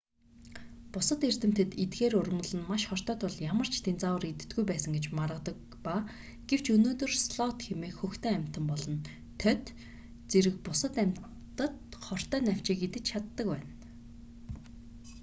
бусад эрдэмтэд эдгээр ургамал нь маш хортой тул ямар ч динозавр иддэггүй байсан гэж маргадаг ба гэвч өнөөдөр слот хэмээх хөхтөн амьтан болон тоть динозаврын үр хойч зэрэг бусад амьтад нь хортой навчийг идэж чаддаг байна